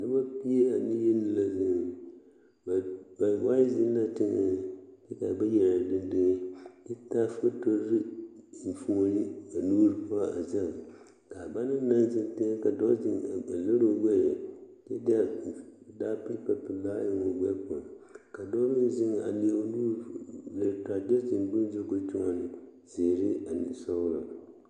Dɔbɔ pie ane yeni la zeŋ bawai zeŋ la teŋɛ kyɛ ka bayi are dendeŋ kyɛ taa fotore enfuoni ba nuuri poɔ a zɛɡe ka a ba naŋ na zeŋ teŋɛ ka dɔɔ zɛŋ a liri o ɡbɛɛ kyɛ taa kapuripelaa eŋ o ɡbɛɛ poɔŋ ka dɔɔ meŋ zeŋ a leɛ o nuuri a liri taa kyɛ zeŋ bone zu ka o kyoɔne ziiri ane sɔɔlɔ.